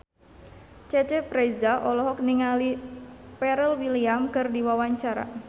Cecep Reza olohok ningali Pharrell Williams keur diwawancara